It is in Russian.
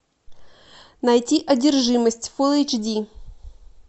найти одержимость фул эйч ди